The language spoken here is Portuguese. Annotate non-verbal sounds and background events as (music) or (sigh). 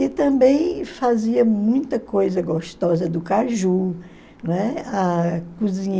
E também fazia muita coisa gostosa do caju, né, (unintelligible)